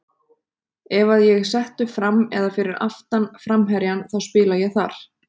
Ef að ég er settur fram eða fyrir aftan framherjann þá spila ég þar.